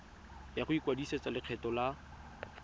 ya go ikwadisetsa lekgetho la